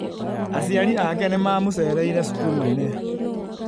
Aciari ake nĩ mamũceereire cukuru-inĩ.